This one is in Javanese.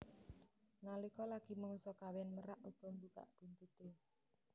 Nalika lagi mangsa kawin merak uga mbukak buntuté